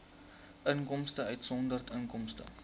inkomste uitgesonderd inkomste